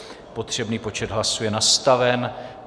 Potřebný počet hlasů je nastaven.